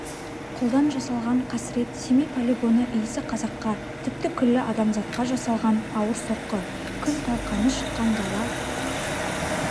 қолдан жасалған қасірет семей полигоны иісі қазаққа тіпті күллі адамзатқа жасалған ауыр соққы күл-талқаны шыққан дала